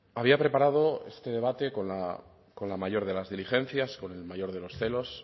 había preparado este debate con la mayor de las diligencias con el mayor de los celos